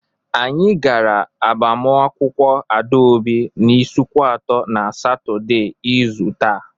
Anyị gara agbamakwụkwọ Adaobi n'Ịsụkwatọ na Satọday. izu taa.